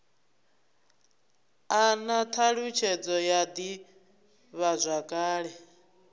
a na thalutshedzo ya divhazwakale